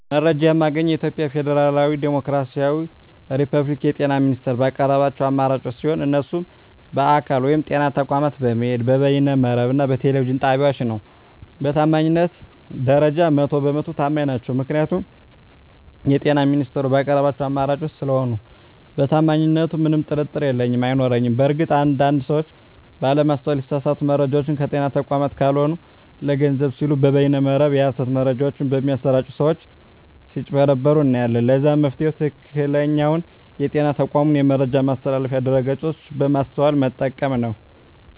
መረጃ የማገኘዉ የኢትዮጵያ ፌደራላዊ ዲሞክራሲያዊ የፐብሊክ የጤና ሚኒስቴር ባቀረባቸዉ አማራጮች ሲሆን እነሱም በአካል (ጤና ተቋማት በመሄድ)፣ በበይነ መረብ እና በቴሌቪዥን ጣቢያወች ነዉ። በታማኝነት ደረጃ 100 በ 100 ተማኝ ናቸዉ ምክንያቱም የጤና ሚኒስቴሩ ባቀረባቸዉ አማራጮች ስለሆነ በታማኝነቱ ምንም ጥርጥር የለኝም አይኖረኝም። በእርግጥ አንድ አንድ ሰወች ባለማስተዋል የተሳሳቱ መረጃወችን ከጤና ተቋማት ካልሆኑ ለገንዘብ ሲሉ በበይነ መረብ የሀሰት መረጃወች በሚያሰራጪ ሰወች ስጭበረበሩ እናያለን ለዛም መፍትሄዉ ትክክለኛዉ የጤና ተቋሙን የመረጃ ማስተላለፊያ ድረገፆች በማስተዋል መጠቀም ነዉ።